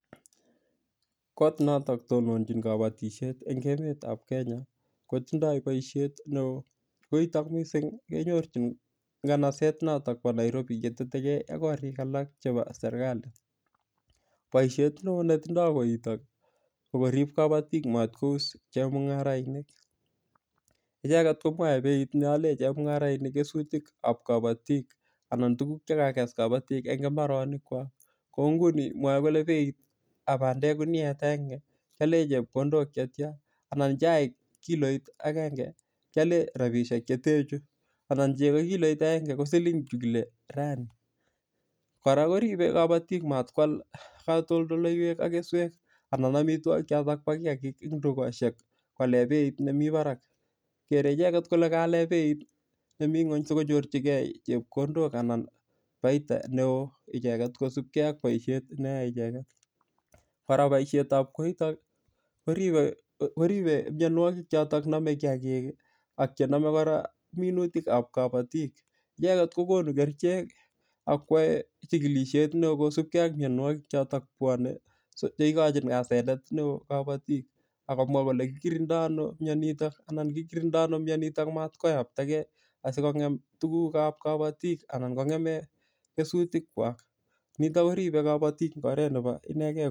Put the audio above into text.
Kot notok tononjin kabotishet eng' emetab Kenya kotindoi boishet ne oo koitok mising' kenyorchin kanaset notok bo Nairobi yetetegei ak korik alak chebo serikali boishet ne oo netindoi koitok kokorib kabotik matkous chemung'arainik icheget komwoei beit neole chemung'arainik kesutikab kabotik anan tukuk chekakes kabotik eng' imbaronik kwak ko nguni mwoei kole beitab bandek kuniet agenge keale chepkondok chetcha anan chaik kiloit agenge kiale rabishek chete chu anan cheko kiloit ko siling chekile raini kora koribei kabotik matkwal katoldoleiwek ak keswek anan amitwokik cho bo kiyakik eng' dukoshek koale beit nemi barak kere icheget kole kaale beit nemi ng'weny sikonyorchigei chepkondok anan faida ne oo icheget kosubkei ak boishet neyoei icheget kora boishetab koitok koribei miyonwokik choto nomei kiyakik ak chenomei kora minutikab kabotik icheget kokonu kerichek akwoei chikilishet ne oo kosupkei ak miyonwokik chotok bwonei che ikochin asenet ne oo kabotik akomwa kole kikirindoi ano miyonitok anan kikirindoi ano miyonitok matkoyaptakei asikong'em tukukab kabotik anan kong'eme kesutik kwak nito koribei kabotik eng' oret nebo inegei